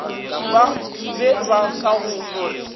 be ba ka no re